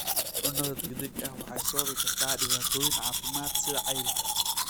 Cunnada degdega ah waxay sababi kartaa dhibaatooyin caafimaad sida cayilka.